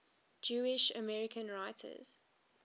jewish american writers